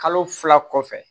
Kalo fila kɔfɛ